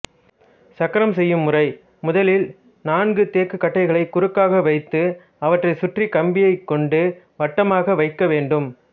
சக்கரம் செய்யும் முறைமுதலில் நான்கு தேக்குக் கட்டைகளை குறுக்காகவைத்து அவற்றைச் சுற்றிக் கம்பியைக்கொண்டு வட்டமாக வைக்க வேண்டும்